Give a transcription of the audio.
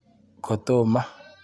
Kotomo.